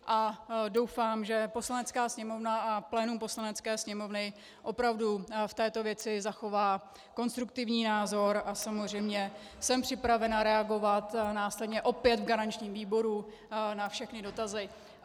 A doufám, že Poslanecká sněmovna a plénum Poslanecké sněmovny opravdu v této věci zachová konstruktivní názor, a samozřejmě jsem připravena reagovat následně opět v garančním výboru na všechny dotazy.